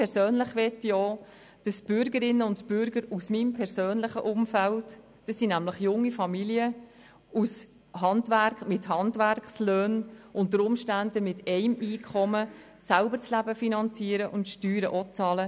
Die Bürgerinnen und Bürger aus meinem persönlichen Umfeld sind junge Familien mit Handwerkerlöhnen, die unter Umständen selber das Leben mit einem einzigen Einkommen finanzieren und auch die Steuern bezahlen.